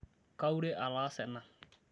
kaure ataasa ena